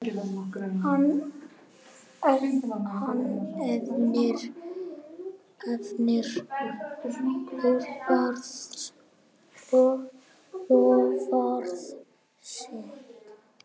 Hann efnir loforð sitt.